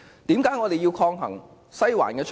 為何我們要抗衡"西環"的操控？